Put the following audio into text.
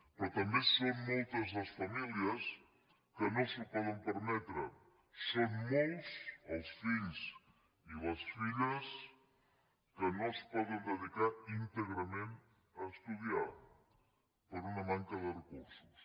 però també són moltes les famílies que no s’ho poden permetre són molts els fills i les filles que no es poden dedicar íntegrament a estudiar per una manca de recursos